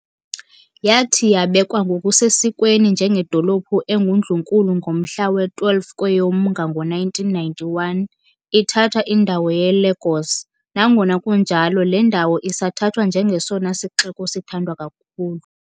Yathi yabekwa ngokusesikweni njengedolophu engundlunkulu ngomhla we-12 KweyoMnga ngo1991, ithatha indawo yeLagos, nangona kunjalo le ndawo isathathwa njengesona sixeko sithandwa kakhulu.